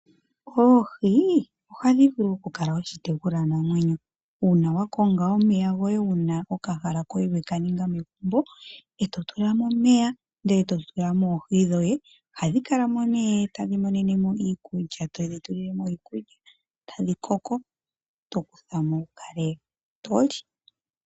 Oohi ohadhi vulu okukala oshitekulwanamwenyo uuna wa konga okahala we ka ninga megumbo e to tula mo omeya, ndele to tula mo oohi dhoye. Ohadhi kala mo nee todhi tulile mo iikulya, tadhi koko to kutha mo wu kale to li.